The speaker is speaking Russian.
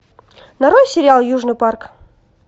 нарой сериал южный парк